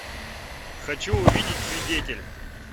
хочу увидеть свидетель